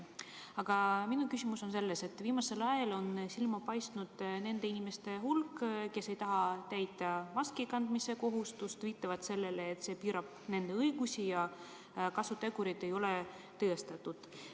Aga viimasel ajal on silma hakanud nende inimeste hulk, kes ei taha täita maskikandmise kohustust ja kes viitavad sellele, et see piirab nende õigusi ja kasutegurid ei ole tõestatud.